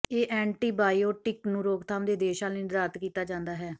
ਇਹ ਐਂਟੀਬਾਇਓਟਿਕ ਨੂੰ ਰੋਕਥਾਮ ਦੇ ਉਦੇਸ਼ਾਂ ਲਈ ਨਿਰਧਾਰਤ ਕੀਤਾ ਜਾਂਦਾ ਹੈ